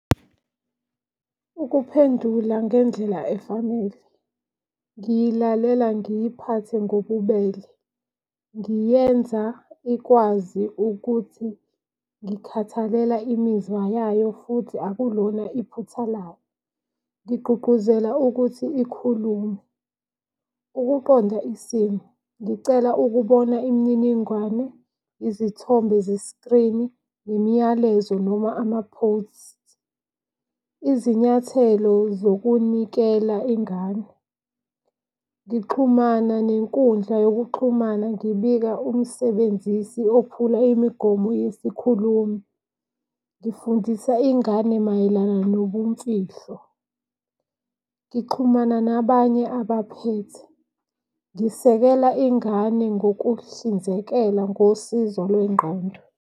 Ukuphendula ngendlela efanele ngilalela ngiyiphathe ngobubele, ngiyenza ikwazi ukuthi ngikhathalela imizwa yayo futhi akulona iphutha lawo. Ngigqugquzela ukuthi ikhulume. Ukuqonda isimo ngicela ukubona imininingwane, izithombe zesikrini nemiyalezo noma ama-post. Izinyathelo zokunikela ingane, ngixhumana nenkundla yokuxhumana ngibika umsebenzisi ophula imigomo yesikhulumi. Ngifundisa ingane mayelana nobumfihlo, ngixhumana nabanye abaphethe. Ngisekela ingane ngokuhlinzekela ngosizo lwengqondo.